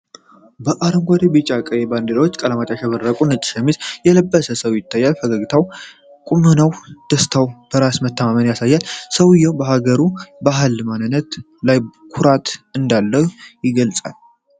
በአረንጓዴ፣ ቢጫና ቀይ የባንዲራ ቀለማት ያሸበረቀ ነጭ ሸሚዝ የለበሰ ሰው ይታያል። ፈገግታውና ቁመናው ደስታና በራስ መተማመንን ያሳያል። ሰውዬው በሀገሩ ባህልና ማንነት ላይ ኩራት እንዳለው ይገልጻል።